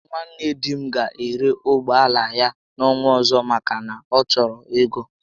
Nwanne di m ga ere ụgbọala ya n'ọnwa ọzọ maka na ọ chọrọ ego